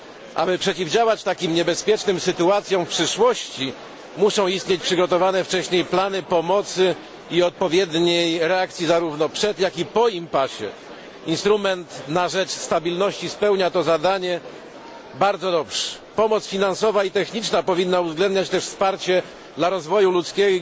Aby przeciwdziałać takim niebezpiecznym sytuacjom w przyszłości, muszą istnieć przygotowane wcześniej plany pomocy i odpowiedniej reakcji zarówno przed, jak i po impasie. Instrument na rzecz stabilności spełnia to zadanie bardzo dobrze. Pomoc finansowa i techniczna powinna uwzględniać też wsparcie dla rozwoju ludzkiego